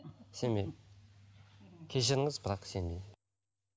сенбеймін кешіріңіз бірақ сенбеймін